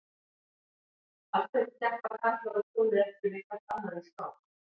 Af hverju keppa karlar og konur ekki við hvert annað í skák?